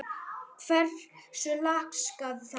Hversu laskað það er?